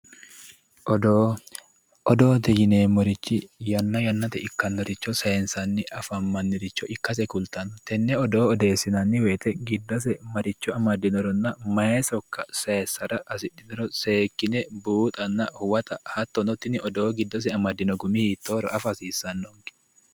Odoo, odoote yineemmorichi yanna yannatenni ikkanoricho saysanni afamaniricho ikkase kulittano tene odoo odeessinanni woyte giddose maricho amadinoronna mayi sokka saysara hasidhinoro seekkine buuxanna huwatta hattonno tinni odoo amadino gumi hiittohoro afa hasiisanonke.